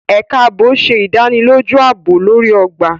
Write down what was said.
Ẹka ààbò ṣe ìdánilójú aabob lori ogba.